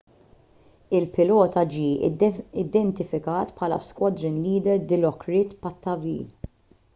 il-pilota ġie identifikat bħala squadron leader dilokrit pattavee